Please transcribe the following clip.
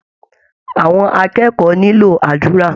Àwọn akẹ́kọ̀ọ́ nílò àdúrà